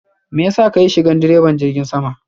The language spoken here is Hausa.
mayasa kayi shigan diraban jirgin sama?